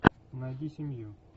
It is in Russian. найди семью